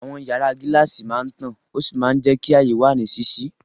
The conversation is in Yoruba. Àwọn yàrá gíláàsì máa ń tàn ó sì máa ń jẹ́ kí ààyè wà ní ṣíṣí.